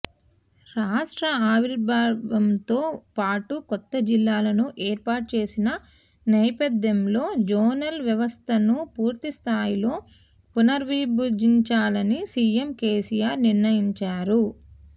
రాష్ట్ర ఆవిర్భావంతో పాటు కొత్త జిల్లాలను ఏర్పాటు చేసిన నేపథ్యంలో జోనల్ వ్యవస్థను పూర్తిస్థాయిలో పునర్విభజించాలని సీఎం కేసీఆర్ నిర్ణయించారు